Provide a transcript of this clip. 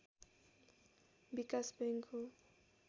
विकास बैँक हो